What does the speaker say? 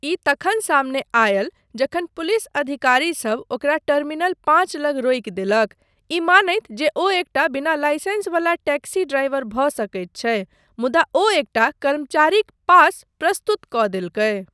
ई तखन सामने आयल जखन पुलिस अधिकारीसभ ओकरा टर्मिनल पाँच लग रोकि देलक, ई मानैत जे ओ एकटा बिना लाइसेंस वला टैक्सी ड्राइवर भऽ सकैत छै, मुदा ओ एकटा कर्मचारीक पास प्रस्तुत कऽ देलकै।